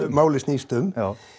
málið snýst um